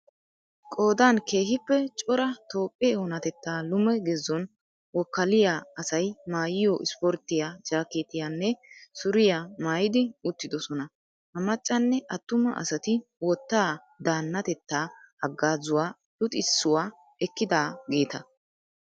Qoodan keehiippe cora toophphee onatetta lume gezon wokaaliya asay maayiyo isporttiya jaaketiyanne suriya maayidi uttidosonna. Ha maccanne attuma asati wottaa daannatetaa hagaazawu luxxisuwaa ekkidaageeta.